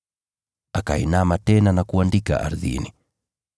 Akainama tena na kuandika ardhini.